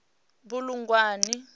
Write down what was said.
bulugwane